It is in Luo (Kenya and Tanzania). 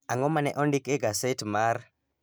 ang'o ma ne ondik e gaset mar